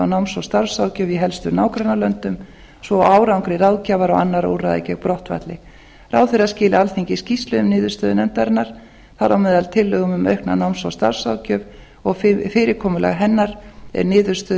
á náms og starfsráðgjöf í helstu nágrannalöndum svo og árangri ráðgjafar og annarra úrræða gegn brottfalli ráðherra skili alþingi skýrslu um niðurstöðu nefndarinnar þar á meðal tillögum um aukna náms og starfsráðgjöf og fyrirkomulag hennar niðurstöður